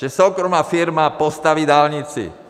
Že soukromá firma postaví dálnici.